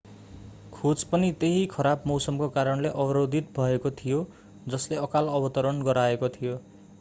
खोज पनि त्यही खराब मौसमको कारणले अवरोधित भएको थियो जसले अकाल अवतरण गराएको थियो